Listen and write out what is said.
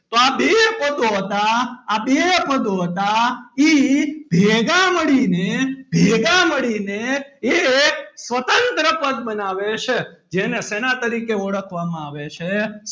તો આ બે પદો હતાં આ બે પદો હતાં એ ભેગા મળીને ભેગા મળીને એક સ્વતંત્ર પદ બનાવે છે જેને શેના તેના તરીકે ઓળખવામાં આવે છે?